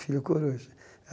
Filho Coruja.